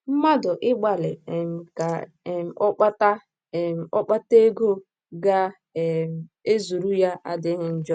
Mmadụ ịgbalị um ka um ọ kpata um ọ kpata ego ga um - ezuru ya adịghị njọ.